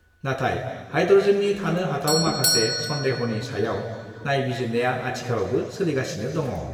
नाथाय हाइड्रजेननि थानो हाथाव माखासे सन्देहनि सायाव नायबिजिरनाया आथिखालावबो सोलिगासिनो दङ I'